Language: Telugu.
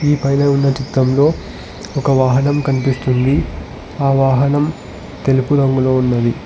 ఈ పైన ఉన్న చిత్రంలో ఒక వాహనం కనిపిస్తుంది ఆ వాహనం తెలుపు రంగులో ఉన్నది.